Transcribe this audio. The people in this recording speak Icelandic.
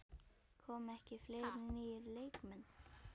Koma ekki fleiri nýir leikmenn?